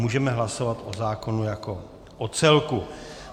Můžeme hlasovat o zákonu jako o celku.